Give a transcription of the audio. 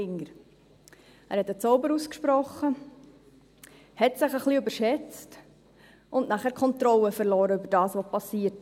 » Er sprach einen Zauber aus, überschätzte sich ein bisschen und verlor dann die Kontrolle über das, was geschah.